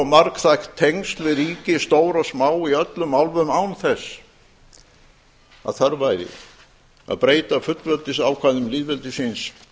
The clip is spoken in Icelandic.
margþætt tengsl við ríki stór og smá í öllum álfum án þess að þörf væri að breyta fullveldisákvæðum lýðveldisins